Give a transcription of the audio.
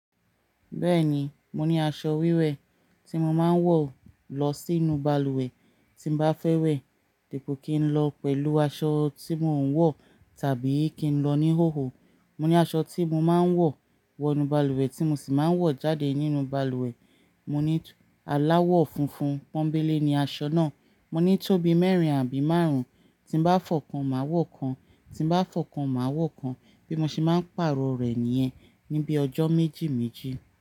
Bẹ́ẹ̀ni, mo ní aṣọ wíwẹ̀ ti mó máa n wọ̀ lọ sínú balùwẹ̀ tí n bá fẹ́ wẹ̀ dípò kí n lọ pẹ̀lú aṣọ tí mò ń wọ̀ tàbí kí n lọ ní hòhò. Mọ ní aṣọ tí mo máa ń wọ̀ wọ inú balùwẹ̀ tí mo sì máa ń wọ̀ jáde nínú balùwẹ̀. Mo ní aláwọ̀ funfun pọ́nńbélé ni aṣọ náà. Mọ ní tóbi mẹ́rin àbí márùn-ún tí n bá fọ̀ kan mà a wọ̀ kan, tí n bá fọ̀ kan mà a wọ̀ kan bí mo ṣe máa ń pàrọ̀ rẹ̀ nìyẹn ní bí ọjọ́ méjì méjì.